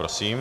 Prosím.